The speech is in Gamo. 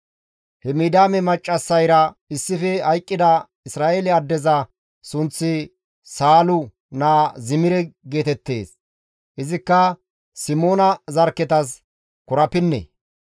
He Midiyaame maccassayra issife hayqqida Isra7eele addeza sunththi Saalu naa Zimire geetettees; izikka Simoona zarkketas korapinne.